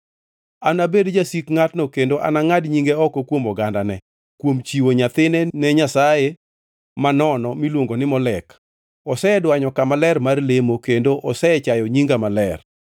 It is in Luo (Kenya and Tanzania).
Anabed jasik ngʼatno kendo anangʼad nyinge oko kuom ogandane; kuom chiwo nyathine ni nyasaye manono miluongo ni Molek, osedwanyo kama ler mar lemo, kendo osechayo nyinga maler.